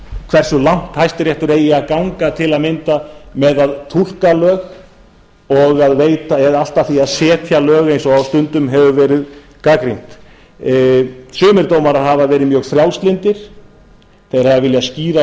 hversu langt hæstiréttur eigi að ganga til að mynda með að túlka lög og að veita eða allt að því að setja lög eins og stundum hefur verið gagnrýnt sumir dómarar hafa verið mjög frjálslyndir þeir hafa viljað skýra